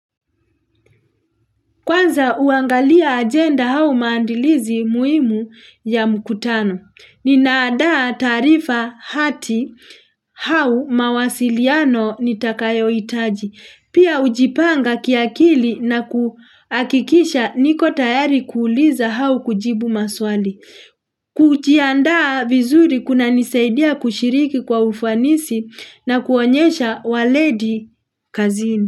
Kwanza huangalia ajenda au maandilizi muhimu ya mkutano. Ninaandaa taarifa hati hau mawasiliano nitakayo hitaji. Pia hujipanga kiakili na kuhakikisha niko tayari kuuliza au kujibu maswali. Kujiandaa vizuri kuna nisaidia kushiriki kwa ufanisi na kuonyesha waledi kazini.